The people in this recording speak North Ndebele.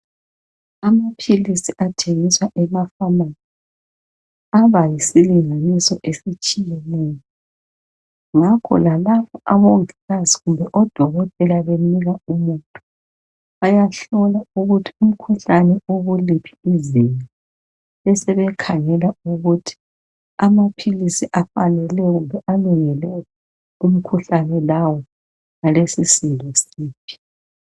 Amaphilisi athengiswa ema pharmacy abayisilinganiso esitshiyeneyo ngakho lalapho oMongikazi kumbe oDokotela benika umuntu bayahlolwa ukuthi umkhuhlane ukuliphi izinga. Besebekhangela ukuthi amaphilisi afanele kumbe alungele umkhuhlane lawo alesisindo siphi.